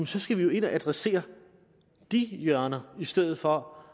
skal vi jo ind og adressere de hjørner i stedet for